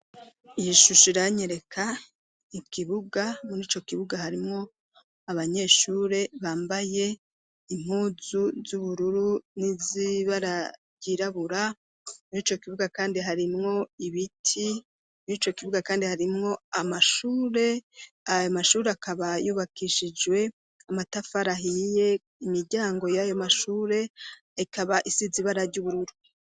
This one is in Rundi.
yishushe iranye reka ikibuga mur'icyo kibuga harimwo abanyeshure bambaye inkuzu z'ubururu n'izibararyirabura mur'ico kibuga kandi hari mwo ibiti mur'icyo kibuga kandi harimwo ayo mashure akaba yubakishijwe amatafari ahiye imijyango y'ayo mashure ikaba isizibarary'ubururu